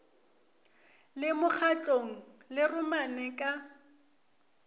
le mokgatlong le romane ka